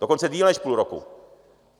Dokonce déle než půl roku.